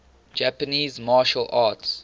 japanese martial arts